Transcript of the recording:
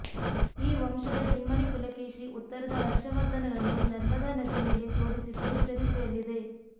ಈ ವಂಶದ ಇಮ್ಮಡಿ ಪುಲಕೇಶಿ ಉತ್ತರದ ಹರ್ಷವರ್ಧನನ್ನು ನರ್ಮದಾ ನದಿ ಮೇಲೆ ಸೋಲಿಸಿದ್ದು ಚರಿತ್ರೆಯಲ್ಲಿದೆ